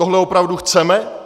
Tohle opravdu chceme?